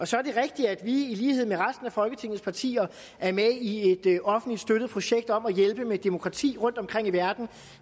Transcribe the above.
så er det rigtigt at vi i lighed med resten af folketingets partier er med i et offentligt støttet projekt om at hjælpe med demokrati rundtomkring i verden